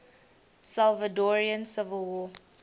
salvadoran civil war